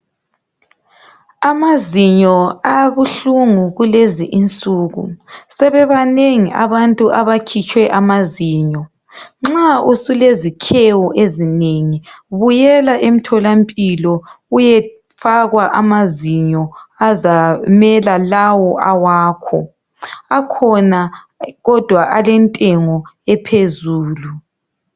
Amazinyo abuhlungu kulezinsuku, sebebanengi abantu abakhitshwe amazinyo, nxa usulezikhewu ezinengi buyela emtholampilo uyefakwa amazinyo azamela lawo awakho akhona kodwa alentengo ephezulu.